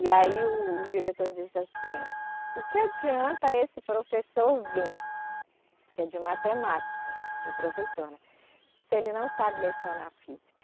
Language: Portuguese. E aí o, o diretor disse assim, o que adianta esse professor vir, que é de matemática, o professor, né, se ele não sabe lecionar física?